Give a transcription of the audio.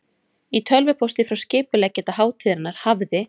Í tölvupósti frá skipuleggjanda hátíðarinnar hafði